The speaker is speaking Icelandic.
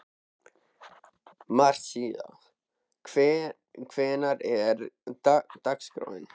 Marísa, hvernig er dagskráin?